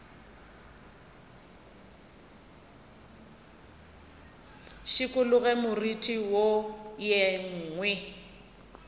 šikologe moriti wo ye nngwe